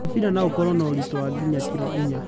Mũbĩra no ũkorwo na ũritũ wa nginya kĩro inya.